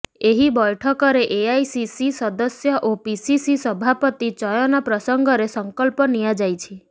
ଏହି ବୈଠକରେ ଏଆଇସିସି ସଦସ୍ୟ ଓ ପିସିସି ସଭାପତି ଚୟନ ପ୍ରସଙ୍ଗରେ ସଙ୍କଳ୍ପ ନିଆଯାଇଛି